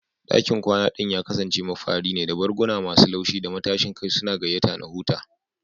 Dakin kwana ɗin ya kasance mafari ne, da barguna masu laushi da matashin kai suna gayyata na huta.